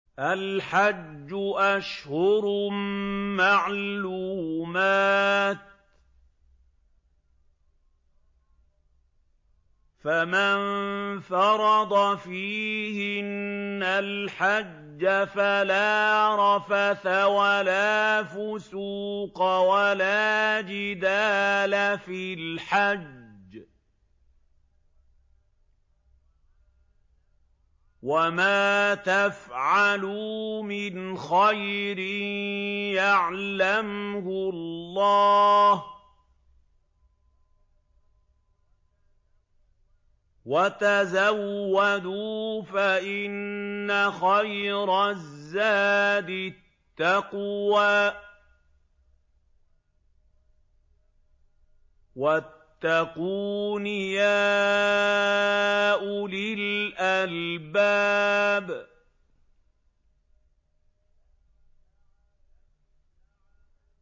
الْحَجُّ أَشْهُرٌ مَّعْلُومَاتٌ ۚ فَمَن فَرَضَ فِيهِنَّ الْحَجَّ فَلَا رَفَثَ وَلَا فُسُوقَ وَلَا جِدَالَ فِي الْحَجِّ ۗ وَمَا تَفْعَلُوا مِنْ خَيْرٍ يَعْلَمْهُ اللَّهُ ۗ وَتَزَوَّدُوا فَإِنَّ خَيْرَ الزَّادِ التَّقْوَىٰ ۚ وَاتَّقُونِ يَا أُولِي الْأَلْبَابِ